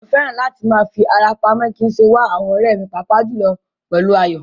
Mo fẹ́ràn láti máa fi ara pamọ́ kí n sì wá àwọn ọ̀rẹ́ mi, pàápàá jùlọ pẹ̀lú Ayọ̀.